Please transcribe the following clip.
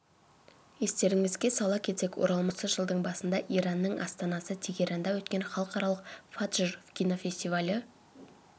естеріңізге сала кетсек оралман көркем фильмі осы жылдың басында иранның астанасы тегеранда өткен халықаралық фаджр кинофестивалі